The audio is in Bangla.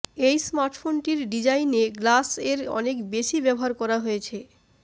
এই স্মার্টফোনটির ডিজাইনে গ্লাস এর অনেক বেশি ব্যবহার করা হয়েছে